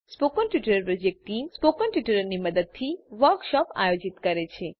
spoken tutorial project team મૌખિક ટ્યુટોરીયલોનાં મદદથી વર્કશોપોનું આયોજન કરે છે